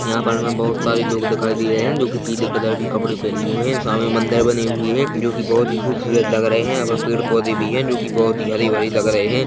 यहाँ पर हमें बहोत सारे लोग दिखाई दे रहे है जोकि पीले कलर के कपड़े पहने हुए है सामने मंदिर बने हुए है जोकि बहोत ही खूबसूरत लग रहे है यहाँ पर पेड़ - पौधे भी है जोकि बहोत ही हरी - भरी लग रहे हैं।